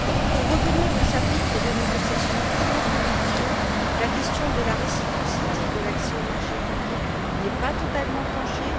Pour revenir au chapitre de négociations purement commerciales, la question de la réciprocité de l'accès aux marchés publics n'est pas totalement tranchée.